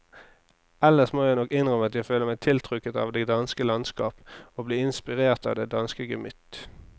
Ellers må jeg nok innrømme at jeg føler meg tiltrukket av det danske landskap og blir inspirert av det danske gemytt.